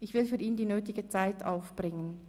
Ich will für ihn die nötige Zeit aufbringen.